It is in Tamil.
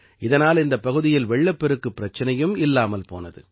இதனால் இந்தப் பகுதியில் வெள்ளப்பெருக்கு பிரச்சினையும் இல்லாமல் போனது